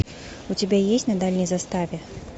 у тебя есть на дальней заставе